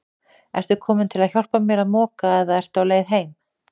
Ertu kominn til að hjálpa mér að moka eða ertu á leið heim?